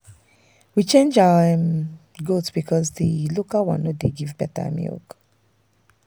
we change our um goat because the local one no dey give better milk.